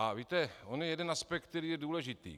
A víte, on je jeden aspekt, který je důležitý.